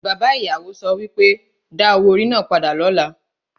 Bàbá ìyàwó so pé, Da owó orí náà padà lọ́la!